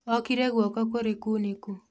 Okire guoko kũrĩ kunĩku